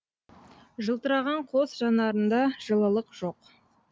жылтыраған қос жанарында жылылық жоқ